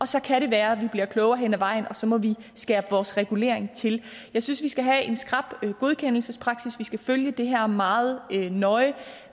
så kan det være vi bliver klogere hen ad vejen og så må vi skære vores regulering til jeg synes vi skal have en skrap godkendelsespraksis vi skal følge det her meget nøje